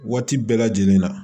Waati bɛɛ lajɛlen na